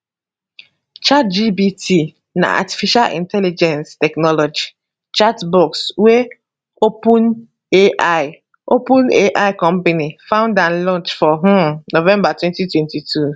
chatgpt na artificial intelligence technology chatbot wey openai openai company found and launch for um november 2022